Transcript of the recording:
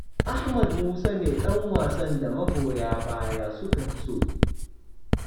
Ahmad Musa ne ɗan wasan da magoya baya suka fi so.